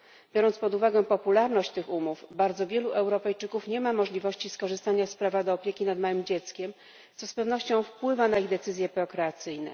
Biorąc pod uwagę popularność tych umów, bardzo wielu Europejczyków nie ma możliwości skorzystania z prawa do opieki nad małym dzieckiem, co z pewnością wpływa na ich decyzje prokreacyjne.